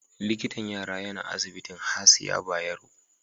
Likitan yara yana asibitin Hasiya Bayero.